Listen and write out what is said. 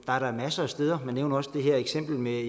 er da masser af steder til man nævner også det her eksempel med